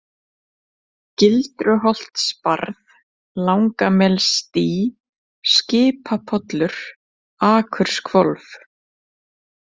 Gildruholtsbarð, Langamelsdý, Skipapollur, Akurshvolf